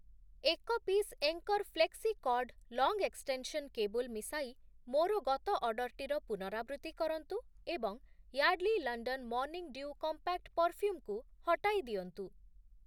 ଏକ piece Anchor Flexicord long extension cable ମିଶାଇ ମୋର ଗତ ଅର୍ଡ଼ର୍‌ଟିର ପୁନରାବୃତ୍ତି କରନ୍ତୁ ଏବଂ Yardley London morning dew compact perfume କୁ ହଟାଇ ଦିଅନ୍ତୁ ।